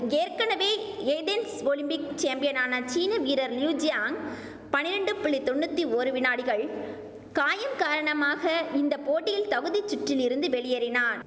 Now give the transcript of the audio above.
ஏற்கெனவே Athens Olympic சேம்பியனான சீன வீரர் லியு ஜியாங் பனிரெண்டு புள்ளி தொண்ணூத்தி ஒரு வினாடிகள் காயம் காரணமாக இந்த போட்டியில் தகுதிச் சுற்றில் இருந்து வெளியேறினா